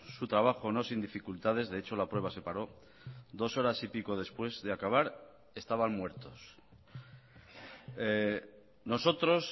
su trabajo no sin dificultades de hecho la prueba se paró dos horas y pico después de acabar estaban muertos nosotros